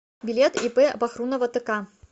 билет ип бахрунова тк